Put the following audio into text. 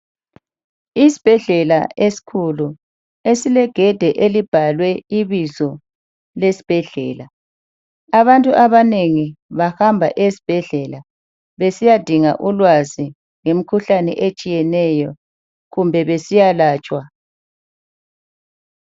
Isibhedlela esikhulu esilegede elibhalwe ibizo lesibhedlela abntu abanengi bahamba ezibhedlela besiya dinga ulwazi ngemkhuhlane etshiyeneyo kumbe besiya latshwa.